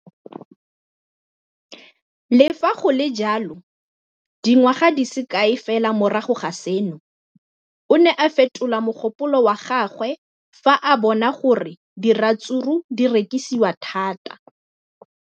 Le fa go le jalo, dingwaga di se kae fela morago ga seno, o ne a fetola mogopolo wa gagwe fa a bona gore diratsuru di rekisiwa thata.